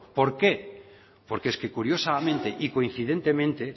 por qué porque es que curiosamente y coincidentemente